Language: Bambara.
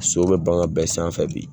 So bɛ bagan bɛɛ sanfɛ bi.